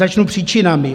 Začnu příčinami.